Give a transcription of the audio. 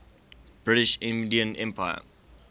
british indian empire